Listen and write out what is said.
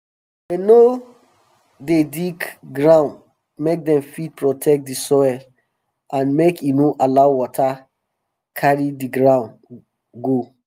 dem no dey dig ground make um dem fit protect di soil and um make e no allow water carry di ground go